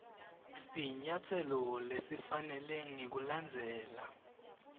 sinyatselo lesifanele ngekulandzela